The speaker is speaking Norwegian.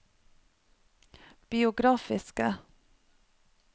biografiske